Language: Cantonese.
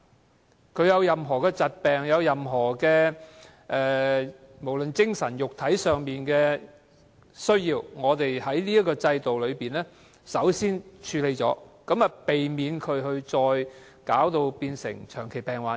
市民有任何疾病，無論精神或肉體上需要醫療服務，我們在這制度下先作處理，避免病人成為長期病患者。